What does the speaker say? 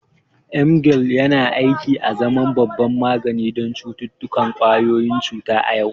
Emgyl yana aiki azaman babban magani don cututtukan ƙwayoyin cuta a yau.